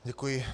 Děkuji.